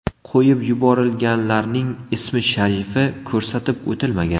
Qo‘yib yuborilganlarning ismi-sharifi ko‘rsatib o‘tilmagan.